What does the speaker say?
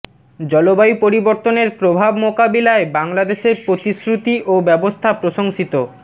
জলবায়ু পরিবর্তনের প্রভাব মোকাবিলায় বাংলাদেশের প্রতিশ্রুতি ও ব্যবস্থা প্রশংসিত